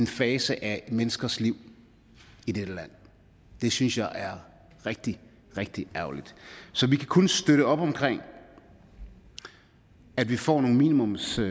fase af et menneskes liv det synes jeg er rigtig rigtig ærgerligt så vi kan kun støtte op omkring at vi får nogle minimumskrav